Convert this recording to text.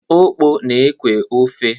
Okpor na-ekwẹ́ ofe.